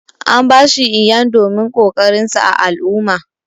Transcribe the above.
An ba shi Iyan domin kokarin sa ã al'umma.